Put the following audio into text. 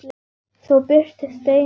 Svo birtist Steini aftur.